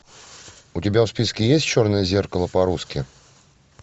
у тебя в списке есть черное зеркало по русски